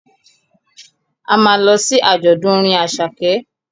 A ma lọ sí àjọ̀dún orin Àṣàkẹ́